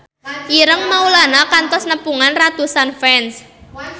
Ireng Maulana kantos nepungan ratusan fans